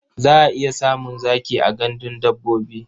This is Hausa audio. Za a iya samun zaki a gandun dabbobi.